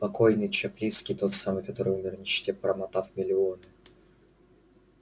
покойный чаплицкий тот самый который умер в нищете промотав миллионы